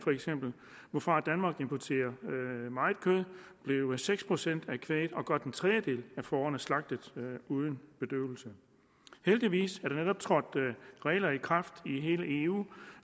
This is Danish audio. hvorfra danmark importerer meget kød blev seks procent af kvæget og godt en tredjedel af fårene slagtet uden bedøvelse heldigvis er der netop trådt regler i kraft i hele eu